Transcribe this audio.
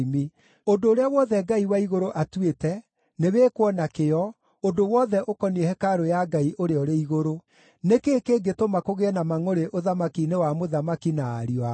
Ũndũ ũrĩa wothe Ngai wa igũrũ atuĩte, nĩwĩkwo na kĩyo, ũndũ wothe ũkoniĩ hekarũ ya Ngai ũrĩa ũrĩ igũrũ. Nĩ kĩĩ kĩngĩtũma kũgĩe na mangʼũrĩ ũthamaki-inĩ wa mũthamaki na ariũ ake?